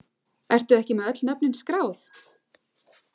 Ertu ekki með öll nöfnin skráð?